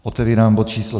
Otevírám bod číslo